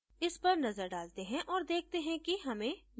इस पर नजर डालते हैं और देखते हैं कि हमें यहाँ क्या करना चाहिए